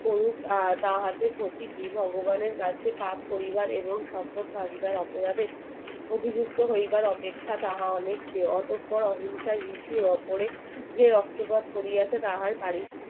তাহার যে প্রকৃতি ভগবানের কাছে তাহার পরিবার এবং সকল ভাগিদার অপরাধের অভিযুক্ত হইবার অপেক্ষা তাহা আটকটার অহিংসার রিসি দর্পনে যে রক্তপাত করিয়াছে তাহার